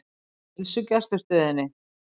Heilsugæslustöðinni